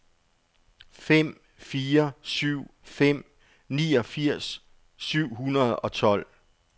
fem fire syv fem niogfirs syv hundrede og tolv